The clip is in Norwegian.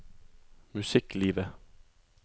musikklivet